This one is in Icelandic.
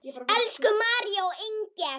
Elsku María og Inger.